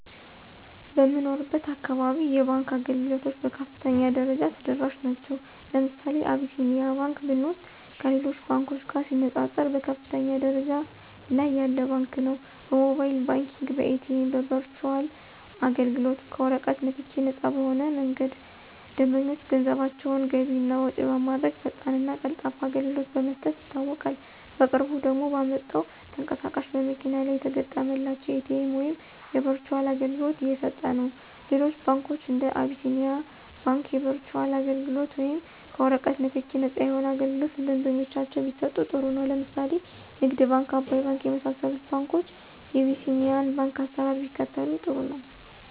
በምኖርበት አካባቢ የባንክ አገልግሎቶች በከፍተኛ ደረጃ ተደራሽ ናቸዉ። ለምሳሌ አብሲኒያ ባንክ ብንወስድ ከሌሎች ባንኮች ጋር ሲነፃፀር በከፍተኛ ደረጃ ላይ ያለ ባንክ ነው። በሞባይል ባንኪንግ፣ በኤቲኤም፣ በበርቹአል አገልግሎት፣ ከወረቀት ንክኪ ነፃ በሆነ መንገድ ደንበኞች ገንዘባቸውን ገቢ እና ወጭ በማድረግ ፈጣንና ቀልጣፋ አገልግሎት በመስጠት ይታወቃል። በቅርቡ ደግሞ ባመጣው ተንቀሳቃሽ በመኪና ላይ የተገጠመላቸው የኤቲኤም ወይም የበርቹአል አገልግሎት እየሰጠነው። ሌሎች ባንኮች እንደ አቢስኒያ ባንክ የበርቹአል አገልግሎት ወይም ከወረቀት ንክኪ ነፃ የሆነ አገልግሎት ለደንበኞቻቸው ቢሰጡ ጥሩ ነው። ለምሳሌ ንግድ ባንክ፣ አባይ ባንክ የመሳሰሉት ባንኮች የቢሲኒያን ባንክ አሰራር ቢከተሉ ጥሩ ነው።